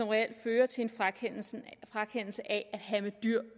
reelt fører til en frakendelse af at have med dyr